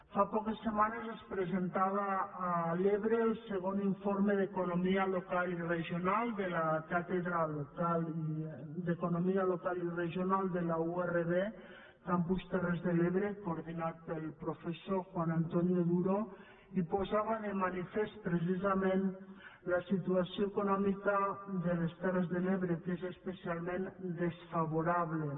fa poques setmanes es presentava a l’ebre el segon informe d’economia local i regional de la càtedra d’economia local i regional de la urv campus terres de l’ebre coordinat pel professor juan antonio duro i posava de manifest precisament la situació econòmica de les terres de l’ebre que és especialment desfavorable